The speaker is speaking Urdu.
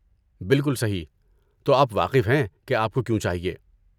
بالکل صحیح! تو آپ واقف ہیں کہ آپ کو کیوں چاہیے۔